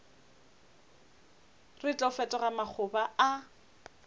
re tlo fetoga makgoba a